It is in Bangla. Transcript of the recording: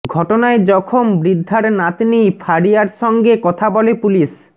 ঘটনায় জখম বৃদ্ধার নাতনি ফারিয়ার সঙ্গে কথা বলে পুলিশ